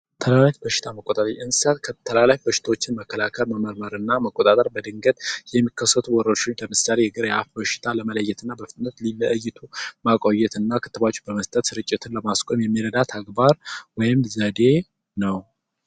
ተላላፊ በሽታዎችን መቆጣጠር እንስሳዎች ተላላፊ በሽታን መከላከል በድንገት የሚከሰቱ ወረርሽኞችን ለምሳሌ የግሪያፕ በሽታን ለመለየትና በፍጥነት ለይቶ ማቆየትና ክትባት በመስጠት ስርጭትን ለማስቆም የሚረዳ ተግባር ወይም ዘዴ ነው።